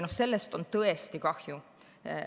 Sellest on tõesti kahju.